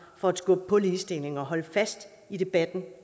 for at skubbe på ligestillingen og holde fast i debatten